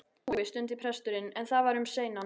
Ég trúi. stundi presturinn, en það var um seinan.